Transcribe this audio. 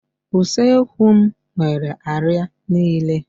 Usekwu m nwere àrịá niile